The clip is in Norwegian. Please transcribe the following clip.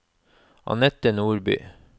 Annette Nordby